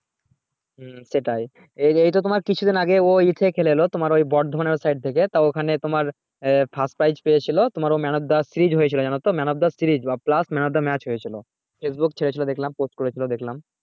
হু সেটাই এটা তাঁর কিছু দিন আগে ও ইশে খেলেছিল তোমার ওই বর্ধমান ওই side থেকে তাও ওখানে তোমার first prize পেয়েছিলো তো man of the series হয়েছিল জানতো man of the series বা man of the match হয়েছিল facebook এ ছেড়েছিলো post করেছিল দেখলাম